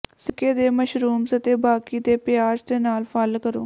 ਸਿਰਕੇ ਦੇ ਮਸ਼ਰੂਮਜ਼ ਅਤੇ ਬਾਕੀ ਦੇ ਪਿਆਜ਼ ਦੇ ਨਾਲ ਫ਼ਲ ਕਰੋ